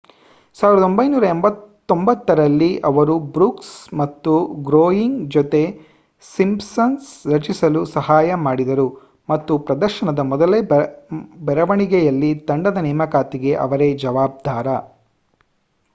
1989 ರಲ್ಲಿ ಅವರು ಬ್ರೂಕ್ಸ್ ಮತ್ತು ಗ್ರೋಯ್ನಿಂಗ್ ಜೊತೆ ಸಿಂಪ್ಸನ್ಸ್ ರಚಿಸಲು ಸಹಾಯ ಮಾಡಿದರು ಮತ್ತು ಪ್ರದರ್ಶನದ ಮೊದಲ ಬರವಣಿಗೆಯಲ್ಲಿ ತಂಡದ ನೇಮಕಾತಿಗೆ ಅವರೇ ಜವಾಬ್ದಾರ